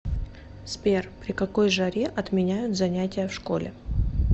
сбер при какой жаре отменяют занятия в школе